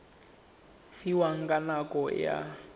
fiwang ka nako e a